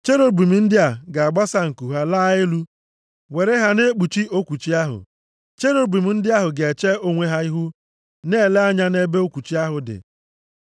Cherubim ndị a ga-agbasa nku ha laa elu, were ha na-ekpuchi okwuchi ahụ. Cherubim ndị ahụ ga-eche onwe ha ihu, na-ele anya nʼebe okwuchi ahụ dị.